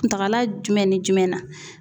Kuntagala jumɛn ni jumɛn na?